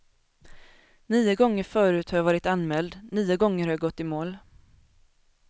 Nio gånger förut har jag varit anmäld, nio gånger har jag gått i mål.